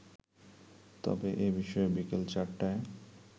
তবে এ বিষয়ে বিকেল চারটায়